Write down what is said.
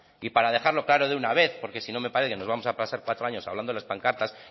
y para dejarlo claro de una vez porque si no me parece que nos vamos a pasar cuatro años hablando de las pancartas